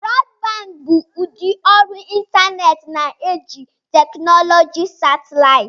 Broadband bụ ụdị ọrụ ịntanetị na-eji teknụzụ satịlaịtị.